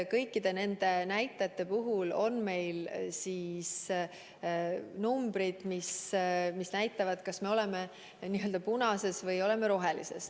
Kõik need arvud näitavad, kas me oleme n-ö punases või rohelises tsoonis.